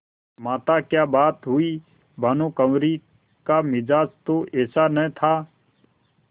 माताक्या बात हुई भानुकुँवरि का मिजाज तो ऐसा न था